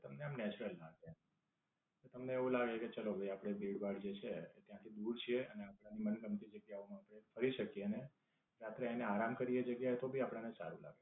તમને આમ નેચરલ લાગે. તો તમને એવું લાગે કે ચાલો આપડે જે ભીડભાડ જે છે એ ત્યાંથી દૂર છે અને આપડી મનગમતી જગ્યાઓ માં આપડે ફરી શકીયે અને સાથે એને આરામ કરીયે તો ભી આપણ ને સારું લાગે.